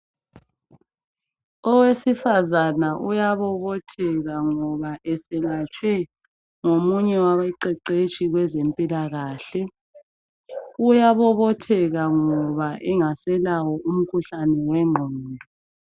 Owesifazane uyabobothetheka ngoba eselatshwe ngomunye wabaqeqeshi kwezempilakahle. Uyayabobotheka ngoba engaselawo umkhuhlane wengqondo.